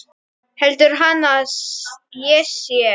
Heldur hann að ég sé.